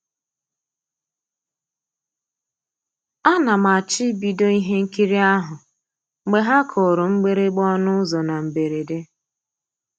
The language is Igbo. A na m àchọ́ ìbìdó ihe nkírí ahụ́ mgbe ha kùrù mgbị̀rị̀gbà ọnụ́ ụ́zọ́ na mbèredè.